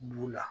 B'u la